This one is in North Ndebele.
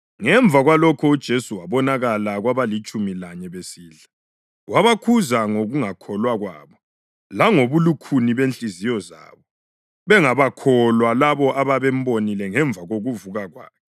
Ngemva kwalokho uJesu wabonakala kwabalitshumi lanye besidla; wabakhuza ngokungakholwa kwabo langobulukhuni benhliziyo zabo bengabakholwa labo ababembonile ngemva kokuvuka kwakhe.